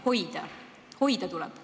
Neid tuleb hoida!